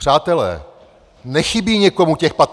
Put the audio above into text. Přátelé, nechybí někomu těch 15 miliard?